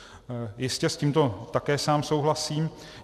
Jistě, s tímto také sám souhlasím.